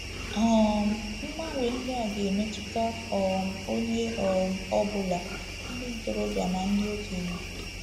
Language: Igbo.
um Mgbanwe ndị a ga-emetụta um onye um ọ bụla, ndị ntorobịa na ndị okenye.